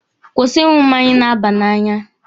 Kwụsị ịṅụ mmanya na-aba n'anya!